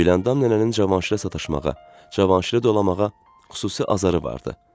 Güləndam nənənin Cavanşirə sataşmağa, Cavanşirə dalamağa xüsusi azarı vardı.